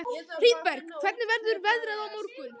Hlíðberg, hvernig verður veðrið á morgun?